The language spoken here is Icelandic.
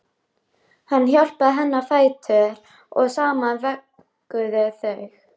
Hann hjálpaði henni á fætur og saman vögguðu þau